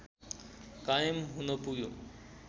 कायम हुन पुग्यो